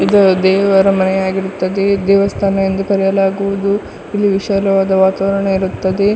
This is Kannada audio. ಇದು ದೇವರ ಮನೆಯಾಗಿರುತ್ತದೆ ಇದು ದೇವಸ್ಥಾನ ಎಂದು ಕರೆಯಲಾಗುವುದು ಇದು ವಿಶಾಲವಾದ ವಾತಾವರಣ ಇರುತ್ತದೆ.